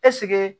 Ɛseke